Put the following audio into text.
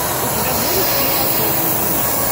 у тебя будет склифосовский